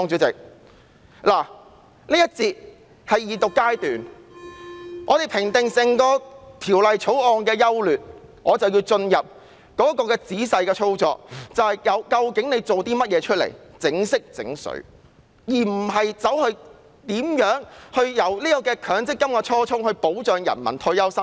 這一節是二讀階段，如果要評定整項《條例草案》的優劣，便要進入仔細的操作，究竟政府裝模作樣做了些甚麼，有否考慮強積金的初衷，即保障人民的退休生活。